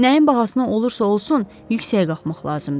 Nəyin bahasına olursa olsun yüksəyə qalxmaq lazımdır.